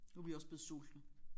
Nu er vi også blevet sultne